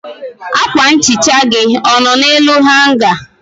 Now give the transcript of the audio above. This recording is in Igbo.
akwa nhicha gị ọ nọ n'elu hanga?